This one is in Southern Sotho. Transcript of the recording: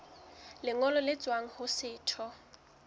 lengolo le tswang ho setho